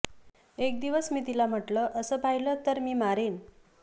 एकदिवस मी तिला म्हटलं असं पाहिलं तर मी मारेन